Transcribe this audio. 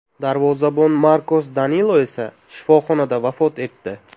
Darvozabon Markos Danilo esa shifoxonada vafot etdi.